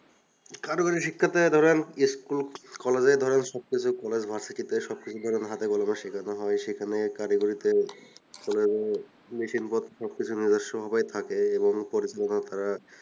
কারিগরি শিক্ষাতে ধরেন school college এ ধরেন সবকিছু college vercity তে সবকিছু ধরেন হাতে কলমে শেখানো হয় সেখানে কারিগরিতে machine পত্র থাকে সবকিছু নিজস্ব ভাবেই থাকে এবং প্রযোজনে তারা